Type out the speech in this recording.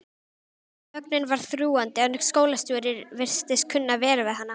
Þögnin var þrúgandi en skólastjóri virtist kunna vel við hana.